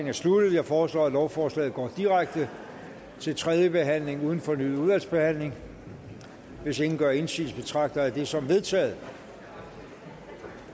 er sluttet jeg foreslår at lovforslaget går direkte til tredje behandling uden fornyet udvalgsbehandling hvis ingen gør indsigelse betragter jeg det som vedtaget